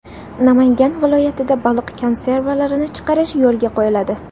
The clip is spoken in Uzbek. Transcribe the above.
Namangan viloyatida baliq konservalarini chiqarish yo‘lga qo‘yiladi.